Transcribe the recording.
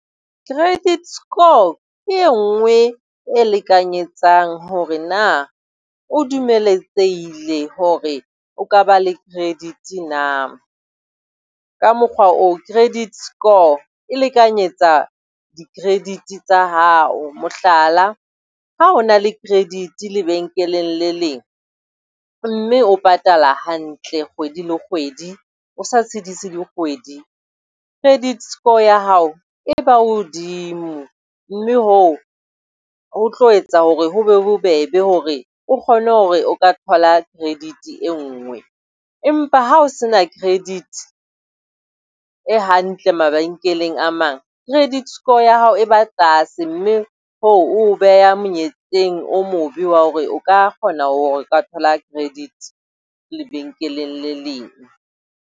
Credit score ke e nngwe e lekanyetsang hore na o dumeletsehile hore o ka ba le credit na. Ka mokgwa oo, credit score e lekanyetsa di-credit tsa hao. Mohlala, ha o na le credit lebenkeleng le leng mme o patala hantle kgwedi le kgwedi, o sa tshedise dikgwedi. Credit score ya hao e ba hodimo mme hoo ho tlo etsa hore ho be bobebe hore o kgone hore o ka thola credit e nngwe, empa ha o se na credit e hantle mabenkeleng a mang, credit score ya hao e ba tlase, mme hoo ho beha monyetleng o mobe wa hore o ka kgona hore o ka thola credit lebenkeleng le leng.